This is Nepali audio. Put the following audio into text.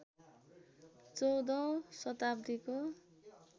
१४औं शताब्दीको